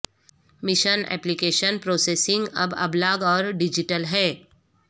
mission application processing اب ابلاغ اور ڈیجیٹل ہے